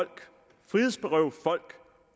frihedsberøve folk